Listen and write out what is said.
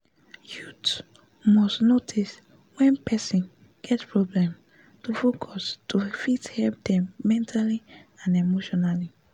youth must notice wen person get problem to focus to fit help them mentally and emotionally